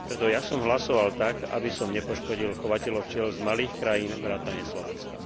Preto ja som hlasoval tak, aby som nepoškodil chovateľov včiel z malých krajín vrátane Slovenska.